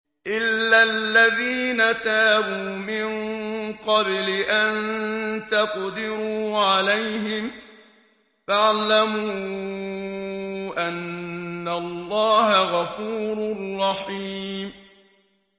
إِلَّا الَّذِينَ تَابُوا مِن قَبْلِ أَن تَقْدِرُوا عَلَيْهِمْ ۖ فَاعْلَمُوا أَنَّ اللَّهَ غَفُورٌ رَّحِيمٌ